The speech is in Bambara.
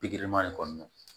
kɔnɔna na